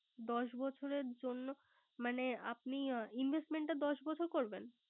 দশ বছরের জন্য, মানে আপনি Investment টা দশ বছর করবেন।